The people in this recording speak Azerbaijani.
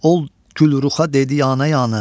ol gülruxa dedi yanə-yanə.